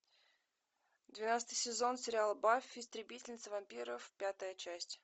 двенадцатый сезон сериал баффи истребительница вампиров пятая часть